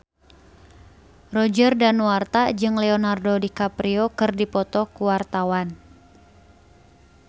Roger Danuarta jeung Leonardo DiCaprio keur dipoto ku wartawan